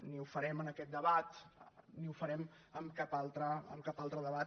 ni ho farem en aquest debat ni ho farem en cap altre debat